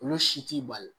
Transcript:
Olu si t'i bali